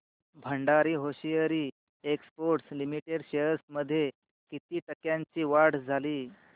Bhandari hosiery exports limited shares मध्ये किती टक्क्यांची वाढ झाली